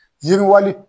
Yiriwali